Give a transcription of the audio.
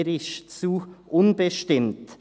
Er ist zu unbestimmt.